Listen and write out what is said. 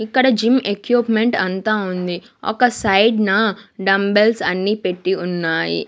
ఇక్కడ gym equipment అంతా ఉంది ఒక సైడ్ నా డంబెల్స్ అన్ని పెట్టి ఉన్నాయి.